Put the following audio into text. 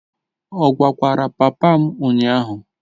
Ọ gwakwara papa m ụnyahụ?